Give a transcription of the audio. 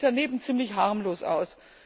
der nimmt sich daneben ziemlich harmlos aus.